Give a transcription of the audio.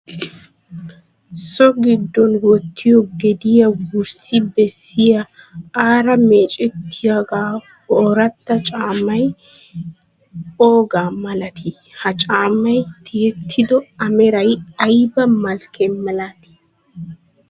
So giddon wottiyoo gediyaa wurssi bessiya aara meecettiyaaggiyo ooratta caammay oogaa malatii? Ha caammay tiyettido a meray ayiba malkke milatii?